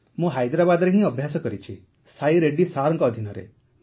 ମୁଁ ହାଇଦ୍ରାବାଦରେ ହିଁ ଅଧିକ ଅଭ୍ୟାସ କରିଛି ସାଇ ରେଡ୍ଡି ସାର୍ଙ୍କ ଅଧୀନରେ